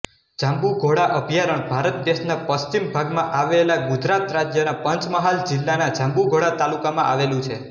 જાંબુઘોડા અભયારણ્ય ભારત દેશના પશ્ચિમ ભાગમાં આવેલા ગુજરાત રાજ્યના પંચમહાલ જિલ્લાના જાંબુઘોડા તાલુકામાં આવેલું છે